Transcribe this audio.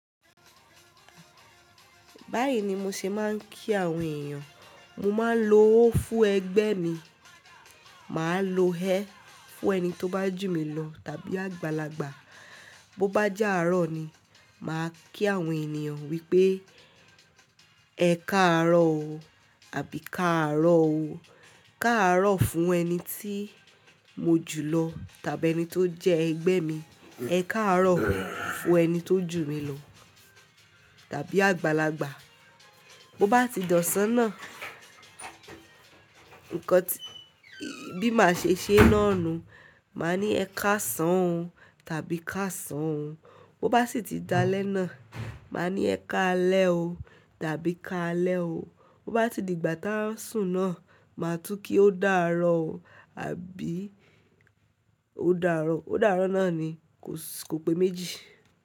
Báyìí ni mo ṣe máa ń kí àwọn èèyàn. Mo máa ń lo ó fún ẹgbẹ́ mi. Mà á lo ẹ́ fún ẹni tó bá jù mí lọ tàbí àgbàlagbà. Bo bá jẹ́ àárọ̀ ni, mà á kí àwọn ènìyàn wípé ẹ káàárọ̀ o àbí káàárọ̀ o. Káàárọ̀ fún ẹni tí mo jù lọ tàbí ẹni tó jẹ́ ẹgbẹ́ mi. Ẹ káàárọ̀ fún ẹni tó jù mí lọ tàbí àgbàlagbà. Bo bá ti dọ̀sán náà, nǹkan tí, bí màá ṣe ṣé ná nu, mà á ní ẹ káṣán o tàbí káṣán o. Bo bá sì ti da lẹ́ná, mà á ní ẹ káalẹ́ o tàbí káalẹ́ o. Bo bá ti di ìgbà táa ń sùn náà, mà á tú kí ó dààrọ̀ o àbí ó dààrọ̀. Ó dààrọ̀ náà ni, kò pé méjì.